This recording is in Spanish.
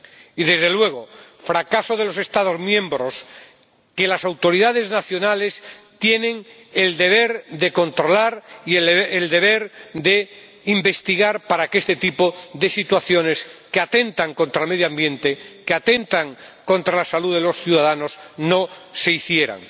y, desde luego, fracaso de los Estados miembros, porque las autoridades nacionales tienen el deber de controlar y el deber de investigar para que este tipo de situaciones, que atentan contra el medio ambiente, que atentan contra la salud de los ciudadanos, no se produzcan.